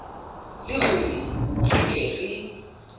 le hore re tle re